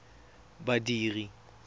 badiri